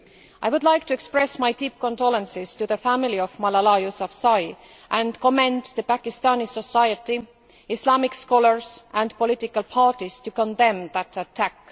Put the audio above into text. I would like to express my deep condolences to the family of Malala Yousafzai and to commend Pakistani society, Islamic scholars and political parties who condemned the attack.